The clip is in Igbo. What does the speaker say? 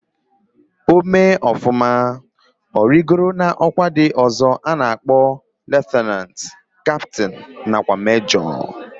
O mee ofuma, origo na okwa ndi ozo ana akpo lieutenant, captain na kwa major.